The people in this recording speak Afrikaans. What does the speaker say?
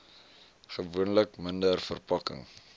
gewoonlik minder verpakking